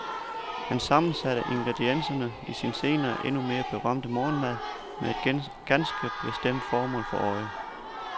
Han sammensatte ingredienserne i sin senere endnu mere berømte morgenmad med et ganske bestemt formål for øje.